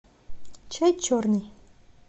чай черный